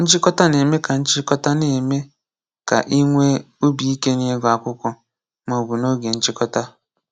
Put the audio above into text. Nchịkọta na-eme ka Nchịkọta na-eme ka i nwee obi ike n’ịgụ akwụkwọ maọbụ n’oge nchịkọta.